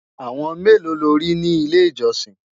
àwọn melo lórí ni ilé ìjósìn?